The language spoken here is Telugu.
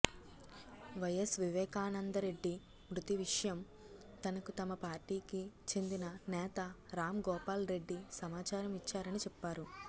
వైఎస్ వివేకానందరెడ్డి మృతి విషయం తనకు తమ పార్టీకి చెందిన నేత రాంగోపాల్ రెడ్డి సమాచారం ఇచ్చారని చెప్పారు